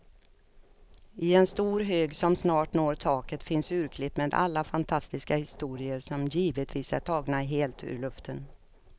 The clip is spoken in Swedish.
I en stor hög som snart når taket finns urklipp med alla fantastiska historier, som givetvis är tagna helt ur luften.